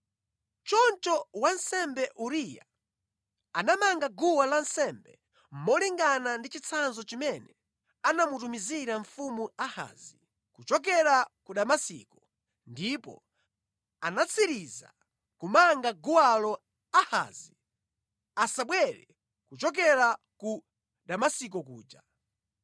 Choncho wansembe Uriya anamanga guwa lansembe molingana ndi chitsanzo chimene anamutumizira Mfumu Ahazi kuchokera ku Damasiko ndipo anatsiriza kumanga guwalo Ahazi asabwere kuchokera ku Damasiko kuja.